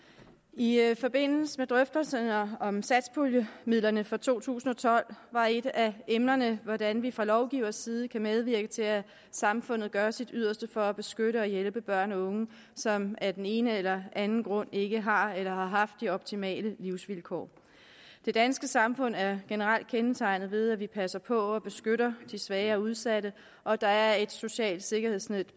i forbindelse med drøftelserne om satspuljemidlerne for to tusind og tolv var et af emnerne hvordan vi fra lovgivers side kan medvirke til at samfundet gør sit yderste for at beskytte og hjælpe børn og unge som af den ene eller anden grund ikke har eller har haft de optimale livsvilkår det danske samfund er generelt kendetegnet ved at vi passer på og beskytter de svage og udsatte og der er et socialt sikkerhedsnet